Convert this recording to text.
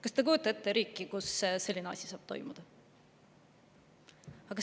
Kas te kujutate ette riiki, kus selline asi saab toimuda?